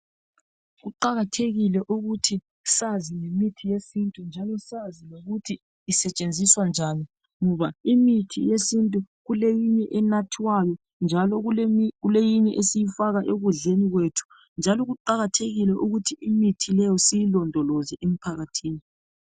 Kuqakathekile ukuthi sazi ngemithi yesintu njalo sazi lokuthi isetshenziswa njani .Ngoba imithi yesintu kuleminye enathwayo njalo kuleyinye esiyifaka ekudleni kwethu .Njalo kuqakathekile ukuthi imithi leyo sizilondoloze emphakathini .